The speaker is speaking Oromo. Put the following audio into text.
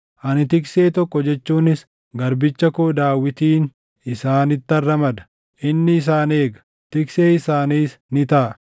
Ani tiksee tokko jechuunis garbicha koo Daawitiin isaanittan ramada; inni isaan eega; tiksee isaaniis ni taʼa.